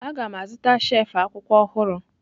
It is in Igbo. Aga m azụta shelf akwụkwọ ọhụrụ.